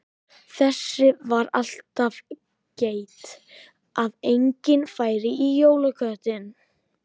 Þess var alltaf gætt að enginn færi í jólaköttinn.